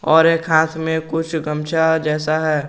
और एक हाथ में कुछ गमछा जैसा है।